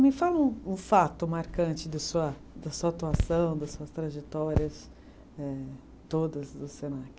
Me fala um um fato marcante da sua, da sua atuação, das suas trajetórias eh, todas do Senac.